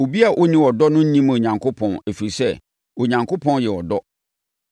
Obi a ɔnni ɔdɔ no nnim Onyankopɔn ɛfiri sɛ, Onyankopɔn yɛ ɔdɔ.